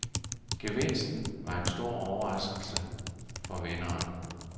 Gevinsten var en stor overraskelse for vinderen.